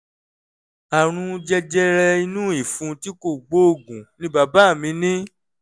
àrùn jẹjẹrẹ inú ìfun tí kò gbóògùn ni bàbá mi ní